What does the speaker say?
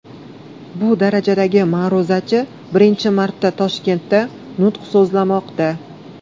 Bu darajadagi ma’ruzachi birinchi marta Toshkentda nutq so‘zlamoqda.